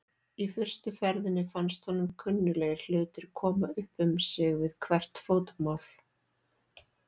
Í fyrstu ferðinni fannst honum kunnuglegir hlutir koma upp um sig við hvert fótmál.